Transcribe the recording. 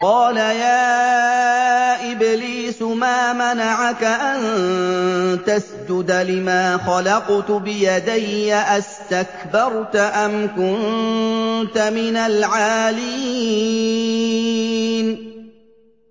قَالَ يَا إِبْلِيسُ مَا مَنَعَكَ أَن تَسْجُدَ لِمَا خَلَقْتُ بِيَدَيَّ ۖ أَسْتَكْبَرْتَ أَمْ كُنتَ مِنَ الْعَالِينَ